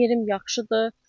Yerim yaxşıdır.